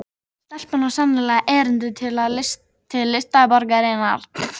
Stelpan á sannarlega erindi til listaborgarinnar